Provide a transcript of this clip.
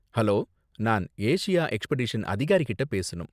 Hello! நான் Asia expedition அதிகாரிகிட்ட பேசணும்?